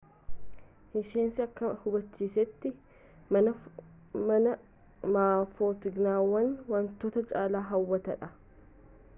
hissehnis akka hubachiisetti maa footooginewaan wantoota caalaaa hawwataadha